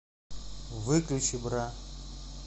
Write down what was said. выключи бра